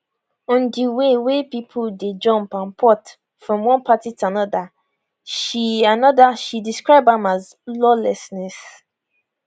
on di way wey pipo dey jump and port from one party to anoda she anoda she describe am as lawlessness